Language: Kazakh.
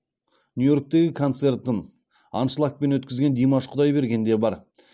нью йорктегі концертін аншлагпен өткізген димаш құдайберген де бар